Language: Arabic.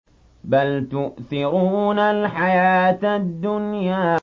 بَلْ تُؤْثِرُونَ الْحَيَاةَ الدُّنْيَا